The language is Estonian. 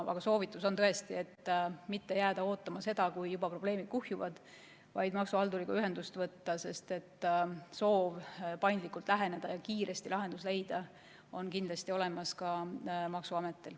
Aga soovitus on tõesti mitte jääda ootama seda, kui probleemid kuhjuvad, vaid varakult maksuhalduriga ühendust võtta, sest soov paindlikult läheneda ja kiiresti lahendus leida on kindlasti olemas ka maksuametil.